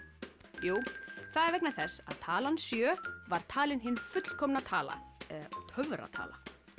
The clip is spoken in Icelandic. jú það er vegna þess að talan sjö var talin hin fullkomna tala eða töfratala